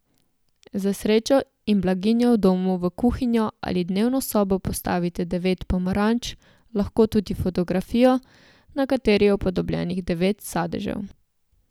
Za srečo in blaginjo v domu v kuhinjo ali dnevno sobo postavite devet pomaranč, lahko tudi fotografijo, na kateri je upodobljenih devet sadežev.